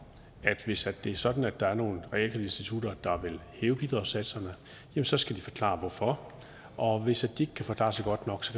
at hvis det er sådan at der er nogle realkreditinstitutter der vil hæve bidragssatserne så skal de forklare hvorfor og hvis de ikke kan forklare sig godt nok